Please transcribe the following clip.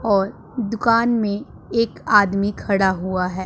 और दुकान में एक आदमी खड़ा हुआ है।